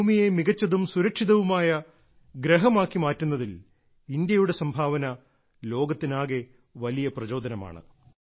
ഈ ഭൂമിയെ മികച്ചതും സുരക്ഷിതവുമായ ഗ്രഹമാക്കി മാറ്റുന്നതിൽ ഇന്ത്യയുടെ സംഭാവന ലോകത്തിനാകെ വലിയ പ്രചോദനമാണ്